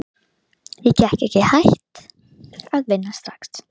Ég get ekki hætt að vinna strax.